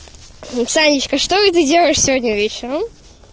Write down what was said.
танечка что это делаешь сегодня вечером